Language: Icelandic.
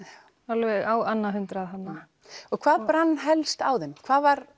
alveg á annað hundrað þarna og hvað brann helst á þeim hvað var